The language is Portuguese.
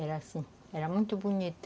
Era assim, era muito bonito.